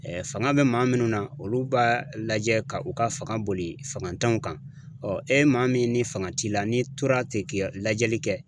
fanga bɛ maa minnu na olu b'a lajɛ ka u ka fanga boli fanga t'anw kan, ɔ e maa min ni fanga t'i la n'i tora ten k'i ka lajɛli kɛ.